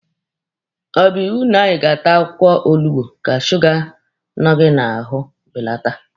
Ọ bụ iwu na anyị ga-ata akwụkwọ olugbu ka suga nọ anyị n'ahụ belata?